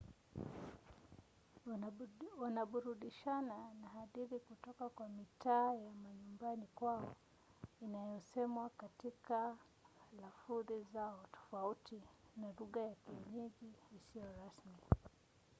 wanaburudishana na hadithi kutoka kwa mitaa ya manyumbani kwao inayosemwa katika lafudhi zao tofauti na lugha ya kienyeji isiyo rasmi